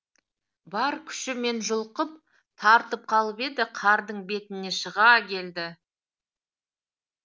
бар күшімен жұлқып тартып қалып еді қардың бетіне шыға келді